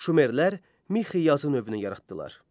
Şumerlər Mixi yazı növünü yaratdılar.